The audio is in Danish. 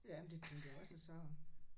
Ja men det tænkte jeg også og så